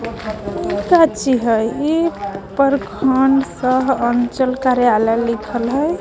इ काची हय ये पर खान सह अंचल कार्यालय लिखल हय।